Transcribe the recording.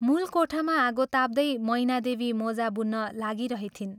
मूल कोठामा आगो ताप्दै मैनादेवी मोजा बुन्न लागिरहिथिन्।